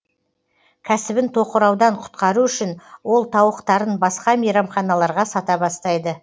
кәсібін тоқыраудан құтқару үшін ол тауықтарын басқа мейрамханаларға сата бастайды